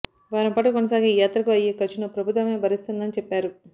వారంపాటు కొనసాగే ఈ యాత్రకు అయ్యే ఖర్చును ప్రభుత్వమే భరిస్తుందని చెప్పారు